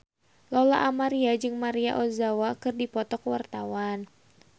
Lola Amaria jeung Maria Ozawa keur dipoto ku wartawan